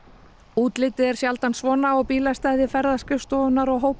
útlitið er sjaldan svona á bílastæði ferðaskrifstofunnar og